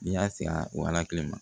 N'i y'a se a ma